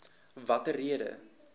watter rede